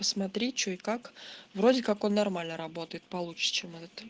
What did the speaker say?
посмотри что и как вроде как он нормально работает получше чем этот